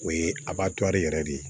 O ye yɛrɛ de ye